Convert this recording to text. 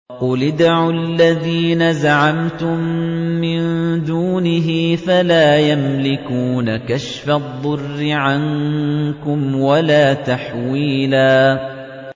قُلِ ادْعُوا الَّذِينَ زَعَمْتُم مِّن دُونِهِ فَلَا يَمْلِكُونَ كَشْفَ الضُّرِّ عَنكُمْ وَلَا تَحْوِيلًا